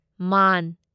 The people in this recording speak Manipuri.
ꯃꯥꯟ